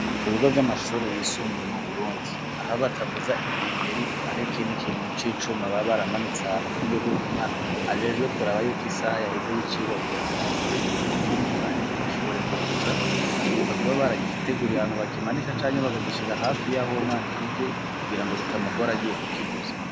Ku bigo vy'amashuri yisumbuye mu burundi, aho batavuza inkengeri har' ikindi ikintu c'icuma baba baramanitse hanu ,ku buryo bw'uko umwana ajejwe kuraba yuko isaha yaheze y'icirwa, kugirango avuze kugirango wundi mwarimu ashobore kuza ,bategereza kuba baragitegurira hantu bakimanika ,canke bakagishira hafi y'aho uwo mwana yigira kugira ngo bitamugoragiye ukivuza.